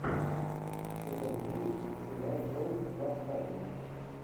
сезон девять сериал трон восстание